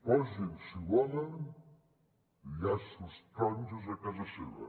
posin si volen llaços taronges a casa seva